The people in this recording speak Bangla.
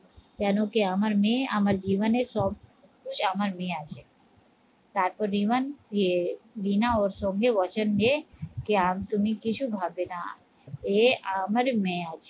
কেন কি আমার মেয়ে আমার জীবনের সব আমার মেয়ে আছে তারপর রিবন দিয়ে রিনা ওর সঙ্গে বাচান দিয়ে যে তুমি কিছু ভাববে না, এ আমার মেয়ে আছে